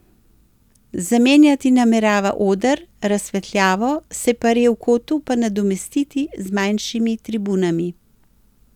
Zamenjati namerava oder, razsvetljavo, separe v kotu pa nadomestiti z manjšimi tribunami.